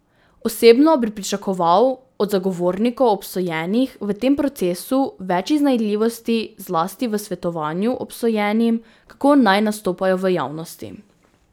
Osebno bi pričakoval od zagovornikov obsojenih v tem procesu več iznajdljivosti, zlasti v svetovanju obsojenim, kako naj nastopajo v javnosti.